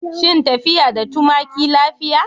Shin tafiya da tumaki lafiya?